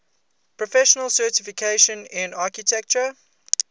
professional certification in architecture